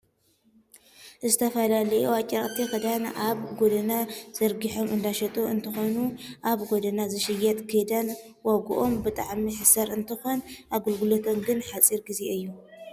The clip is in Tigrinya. ዝተፈላለዩ ኣጭርቅቲ ክዳን ኣብ ጎደና ዘርጊሖም እንዳሸጡ እንትኮኑ፣ ኣብ ጎደና ዝሽየጥ ክዳን ዋግኦም ብጣዕሚ ሕሳር እንትኮን ኣገልግሎቶም ግን ሓፂረ ግዜ እዩ።